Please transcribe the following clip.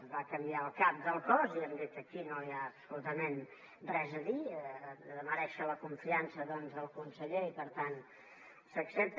es va canviar el cap del cos i hem dit que aquí no hi ha absolutament res a dir ha de merèixer la confiança del conseller i per tant s’accepta